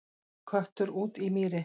Köttur út í mýri